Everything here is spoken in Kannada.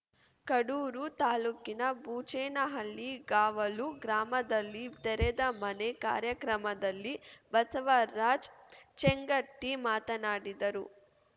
ಕಡೂರು ತಾಲೂಕಿನ ಬೂಚೇನಹಳ್ಳಿ ಕಾವಲು ಗ್ರಾಮದಲ್ಲಿ ತೆರೆದ ಮನೆ ಕಾರ್ಯಕ್ರಮದಲ್ಲಿ ಬಸವರಾಜ್‌ ಚೇಂಗಟಿ ಮಾತನಾಡಿದರು